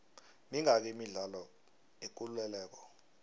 mingaki imidlalo yekuleleko